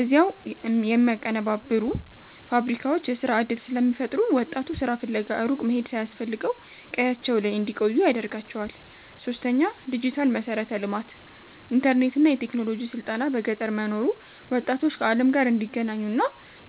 እዚያው የሚያቀነባብሩ ፋብሪካዎች የሥራ ዕድል ስለሚፈጥሩ፣ ወጣቱ ሥራ ፍለጋ ሩቅ መሄድ ሳያስፈልገው ቀያቸው ላይ እንዲቆዩ ያደርጋቸዋል። ፫. ዲጂታል መሠረተ ልማት፦ ኢንተርኔትና የቴክኖሎጂ ስልጠና በገጠር መኖሩ ወጣቶች ከዓለም ጋር እንዲገናኙና